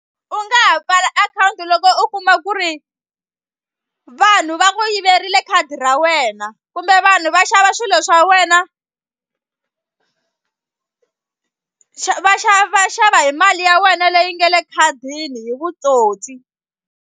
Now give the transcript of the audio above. U nga ha pfala akhawunti loko u kuma ku ri vanhu va ku yiveriwile khadi ra wena kumbe vanhu va xava swilo swa wena xa va xava va xava hi mali ya wena leyi nga le ekhadini hi vutsotsi.